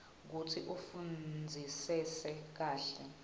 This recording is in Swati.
kutsi ufundzisise kahle